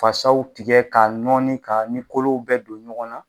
Fasaw tigɛ ka nɔɔni ka ni kolo bɛ don ɲɔgɔn na